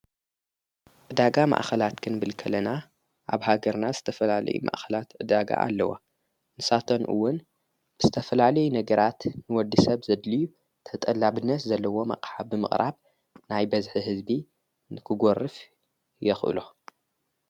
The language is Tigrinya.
ዕዳጋ ማኣኸላት ክንብል ከለና ኣብ ሃገርና ዝተፈላልይ ማኣኸላት ዕዳጋ ኣለዋ፡፡ ንሳተን ውን ብዝተፈላለየ ነገራት ንወዲ ሰብ ዘድልዩ ተጠላብነት ዘለዎም ኣቕሓ ብምቕራብ ናይ በዝሒ ህዝቢ ንክጐርፍ የኽእሎ፡፡